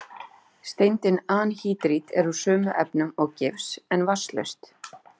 Steindin anhýdrít er úr sömu efnum og gifs, en vatnslaust.